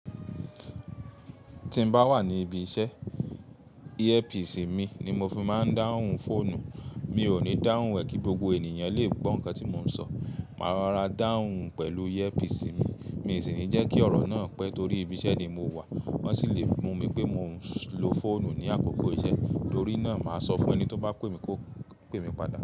Ti n ba wa ni ibi ise, earpiece mi ni mo fi maa n dahun foonu. Mi o ni dahun e ki gbogbo eniyan le gbọ nkan ti mo n sọ. Ma rara dahun pẹlu earpiece mi, mi isi ni jẹ ki ọrọ naa pẹ tori ibi ise ni mo wa. Won si le mu mi pe mo n lo foonu ni akoko ise. Tori naa ma sọ fun ẹni to ba pe mi ko pe mi pada.